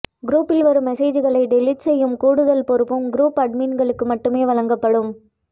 குரூப்பில் வரும் மெசேஜ்களை டெலிட் செய்யும் கூடுதல் பொறுப்பும் குரூப் அட்மின்களுக்கு மட்டுமே வழங்கப்படும்